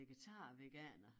Vegetar veganer